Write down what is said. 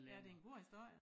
Ja det en god historie